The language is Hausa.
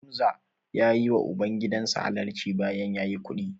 Hamza ya yiwa ubangidan sa halarci bayan ya yi kuɗi.